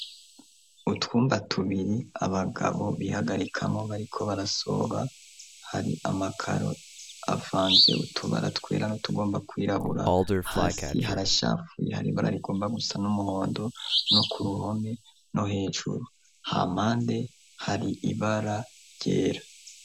Utwumba tubiri abagabo bihagarikamo bariko barasoba hari amakaro afanze utubaratwera no tugomba kwirabura hasi harashapfuye hari bararigomba gusa n'umuhondo no ku ruhome no hejuru ha mande hari ibara ryera.